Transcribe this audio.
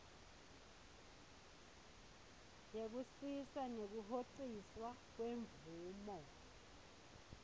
yekusisa nekuhociswa kwemvumo